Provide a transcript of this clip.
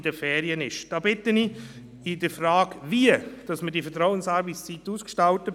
Wir haben gesagt, dass wir grundsätzlich gegen die Einführung der Vertrauensarbeitszeit sind.